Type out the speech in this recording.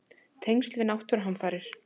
Tengsl við náttúruhamfarir?